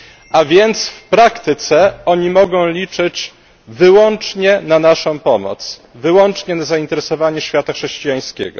A więc w praktyce oni mogą liczyć wyłącznie na naszą pomoc, wyłącznie na zainteresowanie świata chrześcijańskiego.